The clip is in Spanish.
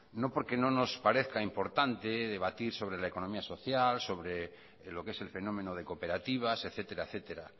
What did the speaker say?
no porque no nos parezca importante debatir sobre la economía social sobre lo que es el fenómeno de cooperativas etcétera etcétera